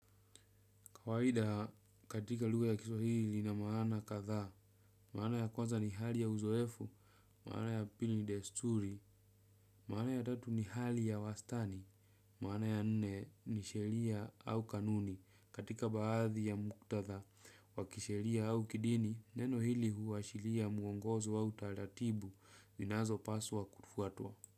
Kawaida katika lugha ya kiswahili lina maana kadhaa. Maana ya kwanza ni hali ya uzoefu, maana ya pili ni desturi, maana ya tatu ni hali ya wastani, maana ya nne ni sheria au kanuni. Katika baadhi ya muktadha, wa kisheria au kidini, neno hili huashiria mwongozo au utaratibu, zinazopaswa kufuatwa.